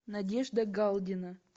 надежда галдина